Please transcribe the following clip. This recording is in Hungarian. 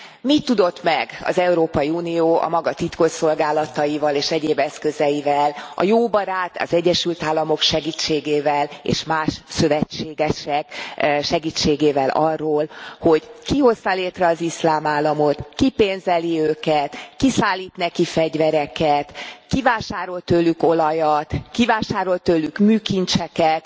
Mit tudott meg az Európai Unió a maga titkosszolgálataival és egyéb eszközeivel, a jó barát, az Egyesült Államok segítségével, és más szövetségesek segítségével arról, hogy ki hozta létre az Iszlám Államot, ki pénzeli őket, ki szállít neki fegyvereket, ki vásárol tőlük olajat, ki vásárol tőlük műkincseket,